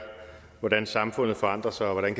hvordan samfundet forandrer sig og hvordan